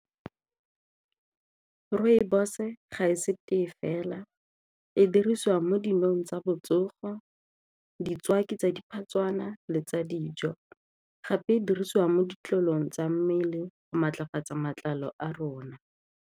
Rooibos-e ga e se tee fela, e diriswa mo dinong tsa botsogo tsa diphatswana le tsa dijo gape e dirisiwa mo ditlolong tsa mmele go maatlafatsa matlalo a rona.